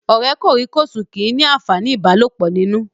Ọ̀rẹ́ kòríkòsùn kìí ní àǹfàní ìbálòpọ̀ nínú